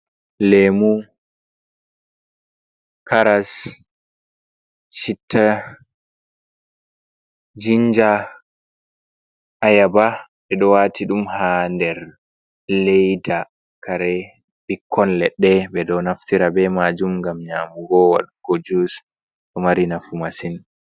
Lemu, karas, Chita, jinja, ayaba ɓeɗo wati ɗum ha nder leida, kare bikkon leɗɗe ɓeɗo naftira be majum gam nyamugo waɗgo jus ɗo mari nafu masin.